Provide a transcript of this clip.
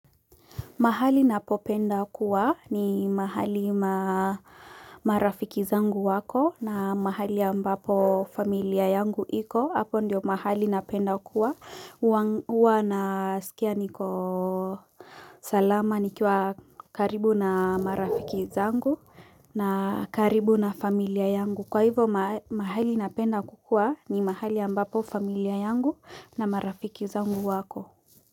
Mahali napopenda kuwa ni mahali marafiki zangu wako na mahali ambapo familia yangu iko. Hapo ndio mahali napenda kuwa. Huwa na skia niko salama nikiwa karibu na marafiki zangu na karibu na familia yangu. Kwa hivo mahali napenda kukuwa ni mahali ambapo familia yangu na marafiki zangu wako.